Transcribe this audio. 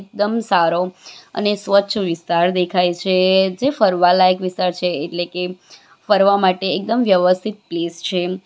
દમ સારો અને સ્વચ્છ વિસ્તાર દેખાય છે જે ફરવા લાયક વિસ્તાર છે એટલે કે ફરવા માટે એકદમ વ્યવસ્થિત પ્લેસ છે.